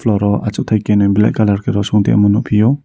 aro asoktai kenui black colour rosong nogphiu.